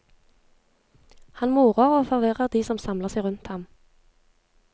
Han morer og forvirrer de som samler seg rundt ham.